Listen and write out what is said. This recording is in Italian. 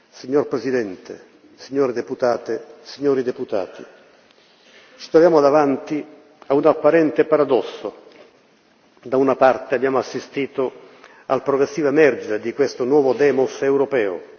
Signor Presidente, signore deputate, signori deputati, ci troviamo davanti a un apparente paradosso da una parte, abbiamo assistito al progressivo emergere di questo nuovo demos europeo